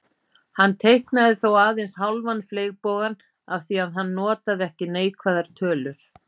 Hann teiknaði þó aðeins hálfan fleygbogann af því að hann notaði ekki neikvæðar tölur.